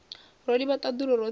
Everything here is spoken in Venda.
ro livha ṱaḓulu roṱhe ro